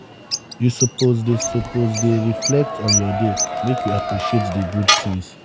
you suppose dey suppose dey reflect on your day make you appreciate di good things.